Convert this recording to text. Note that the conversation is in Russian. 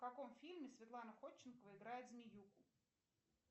в каком фильме светлана ходченкова играет змеюку